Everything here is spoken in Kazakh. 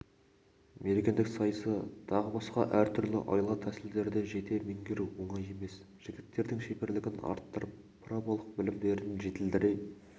мергендік сайысы тағы басқа әртүрлі айла-тәсілдерді жете меңгеру оңай емес жігіттердің шеберлігін арттырып праволық білімдерін жетілдіре